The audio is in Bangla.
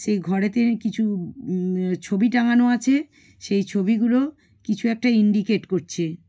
সেই ঘরেতে কিছু উ-ম-ম- অ ছবি টাঙানো আছে সেই ছবি গুলো কিছু একটা ইন্ডিকেট করছে।